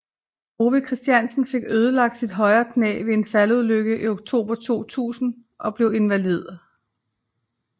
Ove Christensen fik ødelagt sit højre knæ ved en faldulykke i oktober 2000 og blev invalid